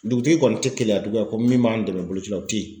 Dugutigi kɔni tɛ Keleya tugu yan ko min b'an dɛmɛ boloci la o tɛ ye.